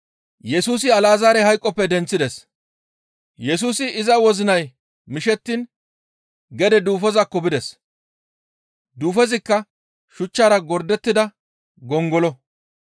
Yesusi iza wozinay mishettiin gede duufozakko bides; duufozikka shuchchara gordettida gongolo.